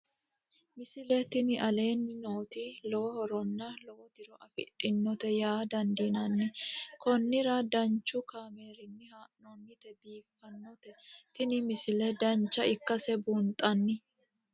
misile tini aleenni nooti lowo horonna lowo tiro afidhinote yaa dandiinanni konnira danchu kaameerinni haa'noonnite biiffannote tini misile dancha ikkase buunxanni